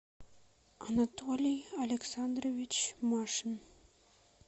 анатолий александрович машин